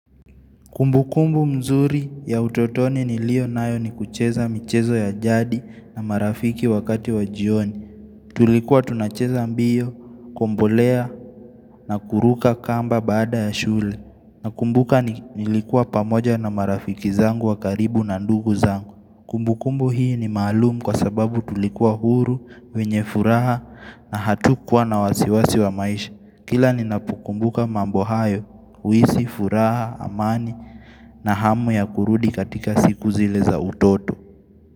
Kumbukumbu mzuri ya utotoni nilionayo ni kucheza michezo ya jadi na marafiki wakati wa jioni. Tulikuwa tunacheza mbio, kombolea na kuruka kamba baada ya shule. Nakumbuka nilikuwa pamoja na marafiki zangu wa karibu na ndugu zangu. Kumbukumbu hii ni malumu kwa sababu tulikuwa huru, wenye furaha na hatukuwa na wasiwasi wa maisha. Kila ninapokumbuka mambo hayo, huhisi, furaha, amani na hamu ya kurudi katika siku zile za utoto.